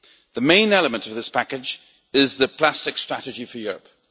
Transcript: The main element of this package is the Plastics Strategy for Europe.